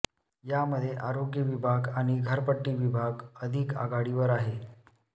यामध्ये आरोग्य विभाग आणि घरपट्टी विभाग अधिक आघाडीवर आहे